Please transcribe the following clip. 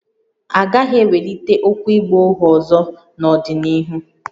A gaghị ewelite okwu ịgba ohu ọzọ n’ọdịnihu